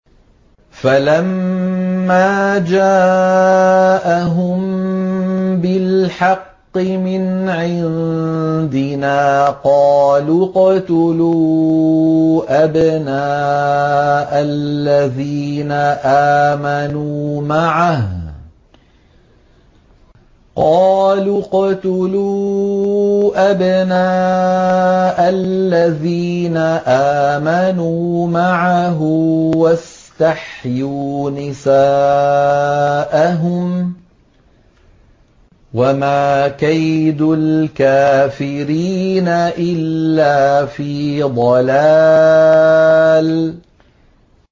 فَلَمَّا جَاءَهُم بِالْحَقِّ مِنْ عِندِنَا قَالُوا اقْتُلُوا أَبْنَاءَ الَّذِينَ آمَنُوا مَعَهُ وَاسْتَحْيُوا نِسَاءَهُمْ ۚ وَمَا كَيْدُ الْكَافِرِينَ إِلَّا فِي ضَلَالٍ